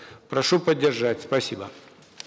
прошу поддержать спасибо